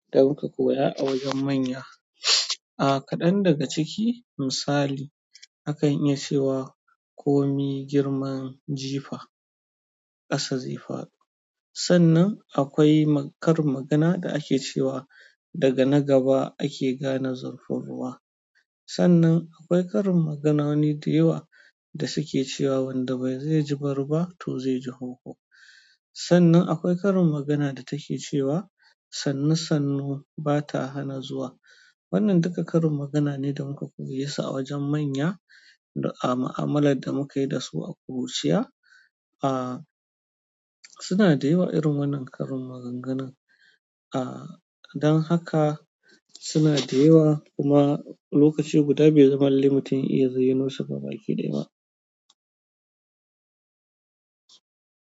Don ka koya a wajen manya. Ah, kaɗan daga ciki misali akan iya cewa komi girman jifa ƙasa zai faɗo. Sannan akwai karin magana da ake cewa daga na gaba ake gane zurfin ruwa. Sannan akwai karin magana wani da yawa da suke cewa wanda bai ji bari ba to zai ji hoho. Sannan akwai karin magana da take cewa sannu sannu bata hana zuwa. Wannan duka karin magana ne da muka koye su a wajen manya a mu'amalar da muka yi da su a ƙuruciya. Ah, suna da yawa irin wannan karin maganganu. Ah, don haka suna da yawa kuma lokaci guda bai zama lallai mutum ya iya zayyanosu gabaki ɗaya ba.